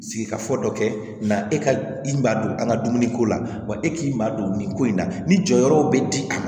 Sigikafɔ dɔ kɛ nka e ka i ma don an ka dumuniko la wa e k'i ma don nin ko in na ni jɔyɔrɔ be di a ma